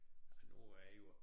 Nu er det jo også